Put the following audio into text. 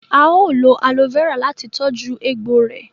Ao lò aloe Vera láti tọjú egbò rẹ